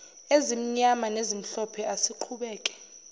ezimnyama nezimhlophe asiqhubeke